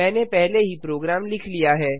मैंने पहले ही प्रोग्राम लिख लिया है